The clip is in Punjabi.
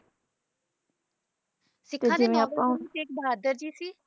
ਸਿੱਖਾਂ ਦੇ ਨੌਵੇਂ ਗੁਰੂ ਤੇਗ ਬਹਾਦਰ ਜੀ ਸੀ